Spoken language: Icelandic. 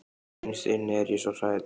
Innst inni er ég svo hrædd.